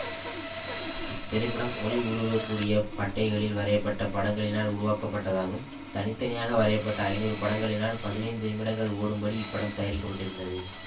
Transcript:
இத்திரைப்படம் ஒளி ஊடுருவ கூடிய பட்டைகளில் வரைய பட்ட படங்களினால் உருவாக்கப்பட்டதாகும் தனி தனியாக வரைய பட்ட ஐநூறு படங்களினால் பதினைந்து நிமிடங்கள் ஓடும்படி இப்படம் தயாரிக்கப்பட்டிருந்தது